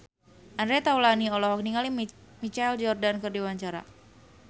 Andre Taulany olohok ningali Michael Jordan keur diwawancara